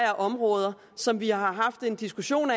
områder som vi har haft en diskussion